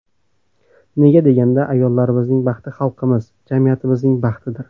Nega deganda, ayollarimizning baxti xalqimiz, jamiyatimizning baxtidir”.